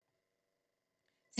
TV 2